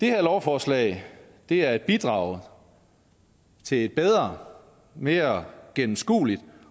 her lovforslag er et bidrag til bedre og mere gennemskuelige